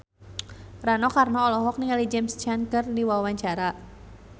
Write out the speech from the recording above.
Rano Karno olohok ningali James Caan keur diwawancara